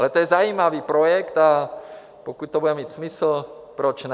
Ale to je zajímavý projekt, a pokud to bude mít smysl, proč ne.